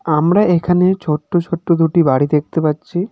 আমরা এখানে ছোট্ট ছোট্ট দুটি বাড়ি দেখতে পাচ্ছি।